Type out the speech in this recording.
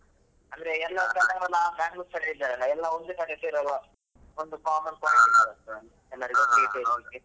ಅಂದ್ರೆ ಕೆಲವ್ರೆಲ್ಲ Bangalore side ಇದ್ದಾರೆ ಎಲ್ಲಾ ಒಂದೇ ಕಡೆ ಸೇರುವ ಹಾಗೆ ಆಗ್ತದೆ ಒಂದು ಎಲ್ಲರಿಗು .